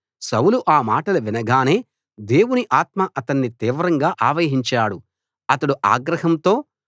సౌలు ఆ మాటలు వినగానే దేవుని ఆత్మ అతన్ని తీవ్రంగా ఆవహించాడు అతడు ఆగ్రహంతో